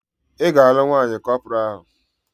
Ị ga-alụ nwaanyị kọpọraa ahụ!